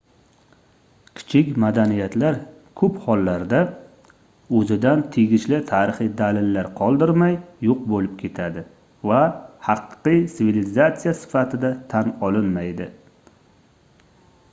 kichik madaniyatlar koʻp hollarda oʻzidan tegishli tarixiy dalillar qoldirmay yoʻq boʻlib ketadi va haqiqiy sivilizatsiya sifatida tan olinmaydi